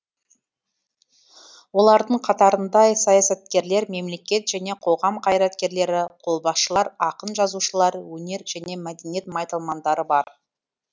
олардың қатарында саясаткерлер мемлекет және қоғам қайраткерлері қолбасшылар ақын жазушылар өнер және мәдениет майталмандары бар